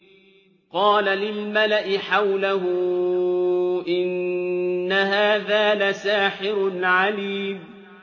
قَالَ لِلْمَلَإِ حَوْلَهُ إِنَّ هَٰذَا لَسَاحِرٌ عَلِيمٌ